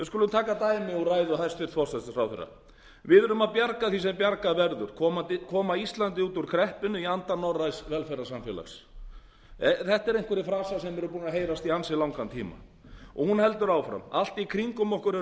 taka dæmi úr ræðu hæstvirts forsætisráðherra við erum að bjarga því sem bjarga verður koma íslandi út úr kreppunni í anda norræns velferðarsamfélags þetta eru einhverjir frasar sem eru búnir að heyrast í ansi langan tíma og hún heldur áfram allt í kringum okkar eru